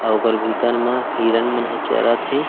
ओकर भीतर में हिरन मन चरत है।